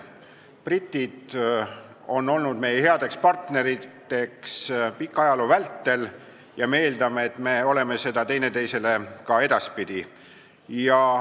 Britid on olnud pika ajaloo vältel meie head partnerid ja me eeldame, et me oleme seda teineteisele ka edaspidi.